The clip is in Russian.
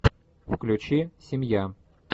включи семья